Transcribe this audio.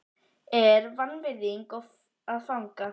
er vanvirðing að fagna?